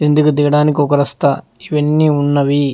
కిందికి దిగడానికి ఒక రస్తా క్వెన్ని ఉన్నవి.